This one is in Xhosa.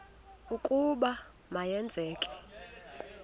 ukuba ma yenzeke